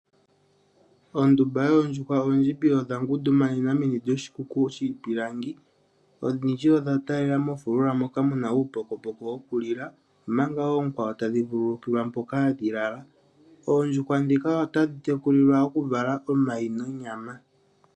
Ondumba yoondjuhwa oondjimbi odha ngundumanena meni lyoshikuku shiipilangi. Odhindji odha taalela mofulula moka mu na uupokopoko wokulila, omanga oonkwawo tadhi vululukilwa mpoka hadhi lala. Oondjuhwa ndhika otadhi tekulilwa okuvala omayi nonyama.